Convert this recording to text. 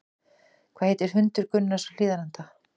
Hvað hét hundur Gunnars á Hlíðarenda?